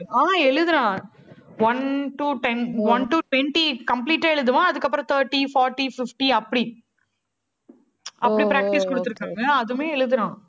ஆஹ் எழுதுறான் one to ten, one to twenty, complete ஆ எழுதுவான். அதுக்கப்புறம் thirty, forty, fifty அப்படி. அப்படி practice கொடுத்து இருக்காங்க அதுவுமே எழுதறான்.